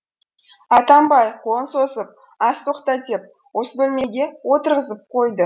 атамбай қолын созып аз тоқта деп осы бөлмеге отырғызып қойды